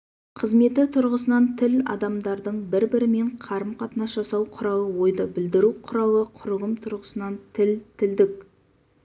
қызметі тұрғысынан тіл адамдардың бір-бірімен қарым-қатынас жасау құралы ойды білдіру құралы құрылым тұрғысынан тіл тілдік